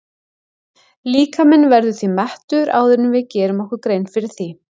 Líkaminn verður því mettur áður en við gerum okkur grein fyrir því.